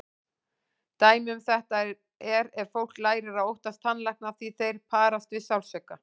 Dæmi um þetta er ef fólk lærir að óttast tannlækna því þeir parast við sársauka.